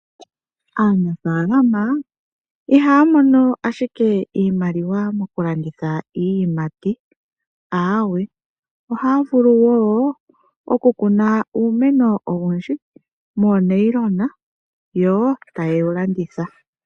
Aanafaalama ihaya mono ashike iimaliwa mokulanditha iiyimati. Aawe, ohaya vulu wo okukuna uumeno owundji moonayilona, yo taye wu landitha.